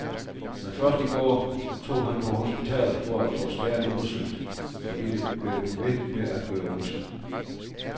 Men først i går tog han på hospital for at få skaden undersøgt, fordi det blev ved med at gøre ondt.